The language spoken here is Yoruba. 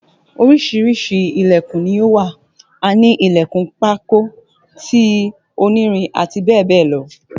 Oríṣiríṣi Ilẹ̀kùn ni ó wà a ní Ilẹ̀kùn pákó, ti onírin àti bẹ́ẹ̀ bẹ́ẹ̀ lọ